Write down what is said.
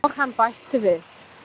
Og hann bætti við.